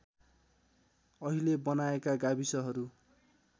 अहिले बनाएका गाविसहरू